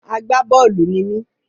Àgbá-bọ́ọ̀lù ni mí